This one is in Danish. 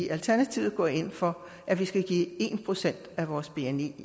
alternativet går ind for at vi skal give en procent af vores bni